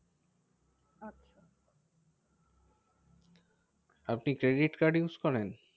আপনি credit card use করেন?